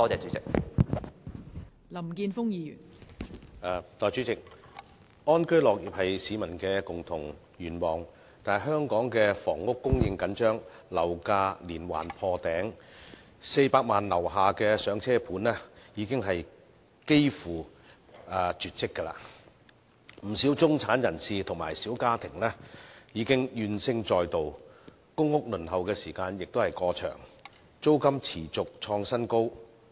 代理主席，安居樂業是市民的共同願望，但香港的房屋供應緊張，樓價連環破頂 ，400 萬元以下的"上車盤"已經幾乎絕跡，不少中產人士和小家庭已怨聲載道，公屋輪候時間過長，租金持續創新高。